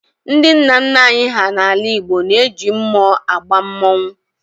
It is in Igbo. Ndị nna nna anyị hà n'ala Igbo na-eji mmụọ agba mmọnwụ